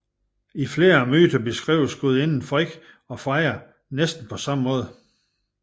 I flere myter beskrives gudinderne Frigg og Freja på næsten samme måde